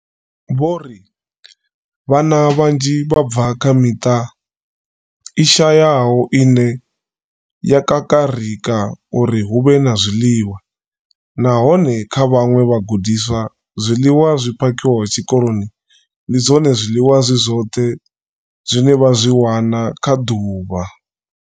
Vho ri. Vhana vhanzhi vha bva kha miṱa i shayaho ine ya kakarika uri hu vhe na zwiḽiwa, nahone kha vhaṅwe vhagudiswa, zwiḽiwa zwi phakhiwaho tshikoloni ndi zwone zwiḽiwa zwi zwoṱhe zwine vha zwi wana kha ḓuvha.